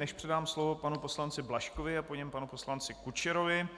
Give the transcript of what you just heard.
Než předám slovo panu poslanci Blažkovi a po něm panu poslanci Kučerovi,